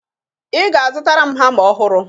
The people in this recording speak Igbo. Ị ga-azụtara m hama ọhụrụ